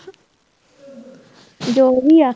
ਜੋ ਵੀ ਆ